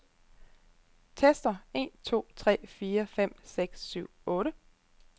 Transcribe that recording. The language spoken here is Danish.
Tester en to tre fire fem seks syv otte.